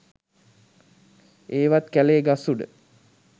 ඒවත් කැලේ ගස් උඩ